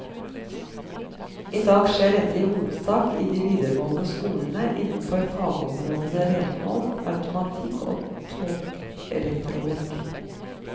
I dag skjer dette i hovedsak i de videregående skolene innenfor fagområdene renhold, automatikk og togelektronikk.